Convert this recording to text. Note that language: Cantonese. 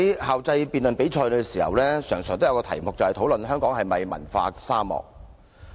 校際辯論比賽經常出現的辯論主題，是討論香港是否文化沙漠。